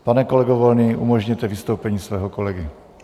Pane kolego Volný, umožněte vystoupení svého kolegy.